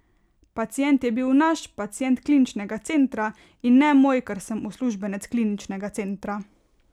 Pacient je bil naš, pacient Kliničnega centra, in ne moj, ker sem uslužbenec Kliničnega centra.